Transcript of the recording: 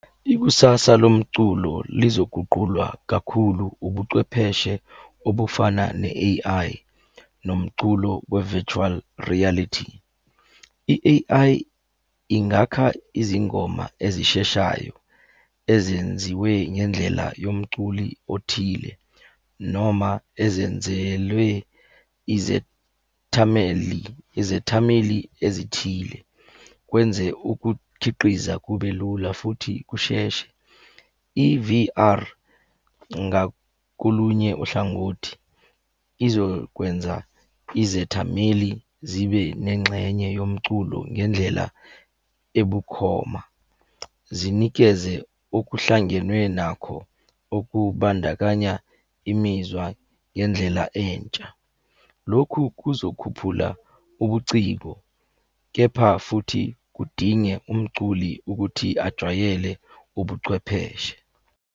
Ikusasa lomculo lizoguqulwa kakhulu ubucwepheshe obufana ne-A_I, nomculo we-virtual reality. I-A_I ingakha izingoma ezisheshayo ezenziwe ngendlela yomculi othile, noma ezenzelwe izethameli. izethameli ezithile. Kwenze ukukhiqiza kube lula futhi kusheshe. I-V_R, ngakolunye uhlangothi, izokwenza izethameli zibe nengxenye yomculo ngendlela ebukhoma. Zinikeze okuhlangenwe nakho, okubandakanya imizwa ngendlela entsha. Lokhu kuzokhuphula ubuciko, kepha futhi kudinge umculi ukuthi ajwayele ubuchwepheshe.